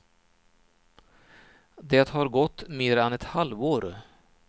Det har gått mer än ett halvt år.